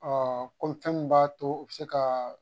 min b'a to u be se ka